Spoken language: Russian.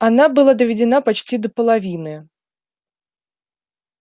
она была доведена почти до половины